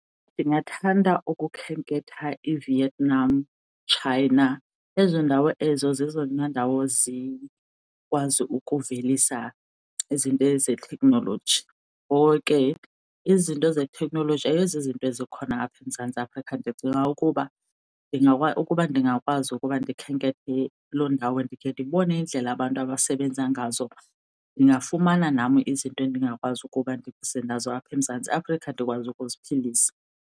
Ndingathanda ukukhenketha iVietnam, China. Ezoo ndawo ezo zezona ndawo zikwazi ukuvelisa izinto zeteknoloji, ngoko ke izinto zeteknoloji ayizozinto zikhona apha eMzantsi Afrika. Ndicinga ukuba, ukuba ndingakwazi ukuba ndikhenkethe loo ndawo ndikhe ndibone iindlela abantu abasebenza ngazo ndingafumana nam izinto endingakwazi ukuba ndize nazo apha eMzantsi Afrika ndikwazi ukuziphilisa.